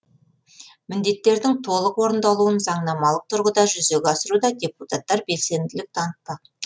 міндеттердің толық орындалуын заңнамалық тұрғыда жүзеге асыруда депутаттар белсенділік танытпақ